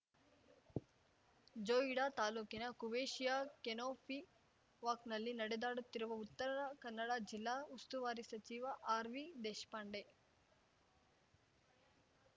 ಜೋಯಿಡಾ ತಾಲೂಕಿನ ಕುವೇಶಿಯ ಕೆನೋಪಿ ವಾಕ್‌ನಲ್ಲಿ ನಡೆದಾಡುತ್ತಿರುವ ಉತ್ತರ ಕನ್ನಡ ಜಿಲ್ಲಾ ಉಸ್ತುವಾರಿ ಸಚಿವ ಆರ್‌ವಿ ದೇಶಪಾಂಡೆ